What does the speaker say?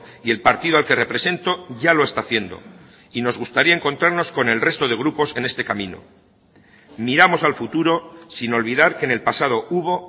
y el partido al que represento ya lo está haciendo y nos gustaría encontrarnos con el resto de grupos en este camino miramos al futuro sin olvidar que en el pasado hubo